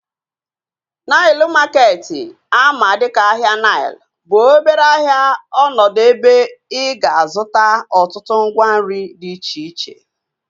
Nile maketi ama dịka ahịa Nile bụ obere ahịa ọnọdụ ebe ị ga-azụta ọtụtụ ngwa nri dị iche iche